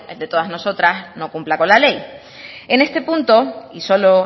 de todas nosotras no cumpla con la ley en este punto y solo